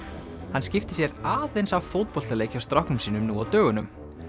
hann skipti sér aðeins af fótboltaleik hjá stráknum sínum nú á dögunum